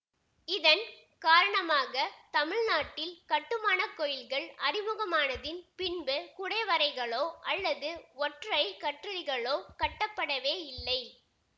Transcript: இதன் காரணமாக தமிழ் நாட்டில் கட்டுமான கோயில்கள் அறிமுகமானதின் பின்பு குடைவரைகளோ அல்லது ஒற்றை கற்றளிகளோ கட்டப்படவேயில்லை